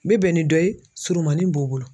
N bɛ bɛn ni dɔ ye surumanin b'o bolo.